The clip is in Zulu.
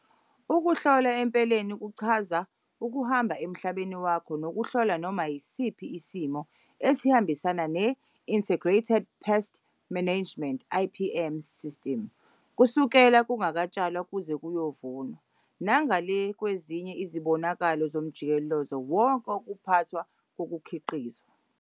UKUHLOLA EMPELENI KUCHAZA UKUHAMBA EMHLABENI WAKHO NOKUHLOLA NOMA YISIPHI ISILIMO ESIHAMBISANA NE-INTEGRATED PEST MANAGEMENT, IPM, SISTIMU KUSUKELA KUNGAKATSHALWA KUZE KUYOVUNWA NANGALE KWEZINYE IZIBONAKALO ZOMJIKELEZO WONKE WOKUPHATHWA KOKUKHIQIZWA.